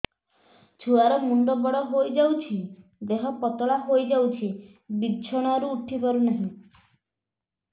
ଛୁଆ ର ମୁଣ୍ଡ ବଡ ହୋଇଯାଉଛି ଦେହ ପତଳା ହୋଇଯାଉଛି ବିଛଣାରୁ ଉଠି ପାରୁନାହିଁ